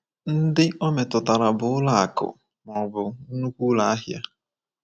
Ndị o metụtara bụ ụlọ akụ̀ ma ọ bụ nnukwu ụlọ ahịa.